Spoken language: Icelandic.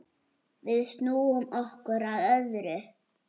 Við snúum okkur að öðru.